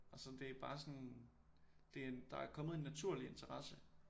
Og så det er bare sådan der er kommet en naturlig interesse